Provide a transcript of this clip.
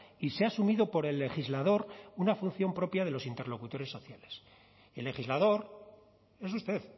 y se ha asumido por el legislador una función propia de los interlocutores sociales el legislador es usted